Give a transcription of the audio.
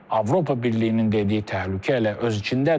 Avropa Birliyinin dediyi təhlükə elə öz içindədir.